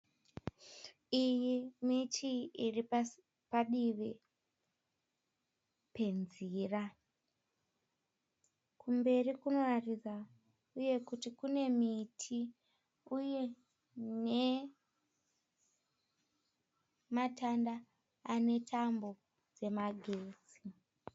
Iyi miti iripadivi penzira kumberi kunoratidza uye kuti kune miti uye nematanda anetambo dzemagetsi.